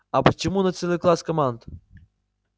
а почему не целый класс команд